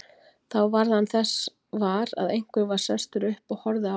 Þá varð hann þess var að einhver var sestur upp og horfði á hann.